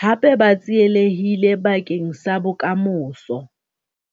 hape ba tsielehille bakeng sa bokamoso.